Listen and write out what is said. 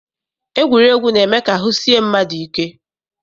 Egwuregwu na-eme ka ahụ sie mmadụ ike.